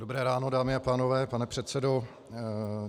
Dobré ráno, dámy a pánové, pane předsedo.